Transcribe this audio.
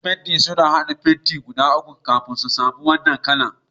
Masun fentin sun hada irin fenti guda uku kafin sun samu wanan kala'n.